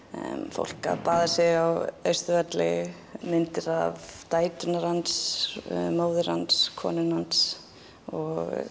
fólk að baða sig á Austurvelli myndir af dætrum hans móður hans konunni hans og